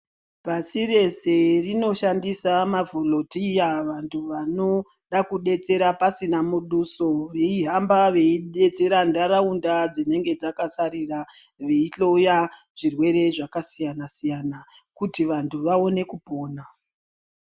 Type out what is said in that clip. Pasi rese rinoshandisa mavholundiya vantu vanoda kudetsera pasina muduso veihamba veidetsera nharaunda dzinenge dzakasarira veihloya zvirwere zvakasiyana siyana kuti vantu vaone kupona.